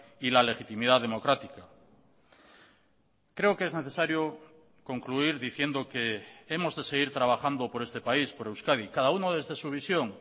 y la legitimidad democrática creo que es necesario concluir diciendo que hemos de seguir trabajando por este país por euskadi cada uno desde su visión